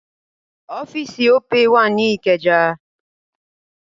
Ọ́fíì̀sì Opay wà ní Ìkẹjà.